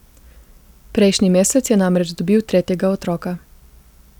Prejšnji mesec je namreč dobil tretjega otroka.